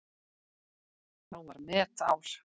Þá var metár.